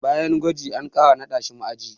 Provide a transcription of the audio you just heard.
Bayan gwajin, an ƙara naɗa shi ma'aji.